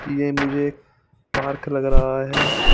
ये मुझे एक पार्क लग रहा है।